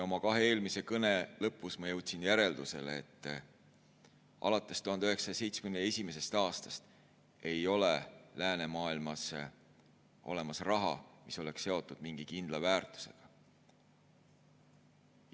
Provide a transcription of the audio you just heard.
Oma kahe eelmise kõne lõpus ma jõudsin järeldusele, et alates 1971. aastast ei ole läänemaailmas enam olemas raha, mis oleks seotud mingi kindla väärtusega.